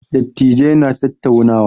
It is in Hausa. Dattijai na tattaunawa.